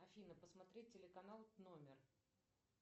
афина посмотреть телеканал номер